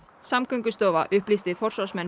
Samgöngustofa upplýsti forsvarsmenn